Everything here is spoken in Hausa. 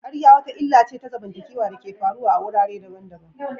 ƙarya wata illa ce ta zamantakewa da ke faruwa a wurare daban-daban.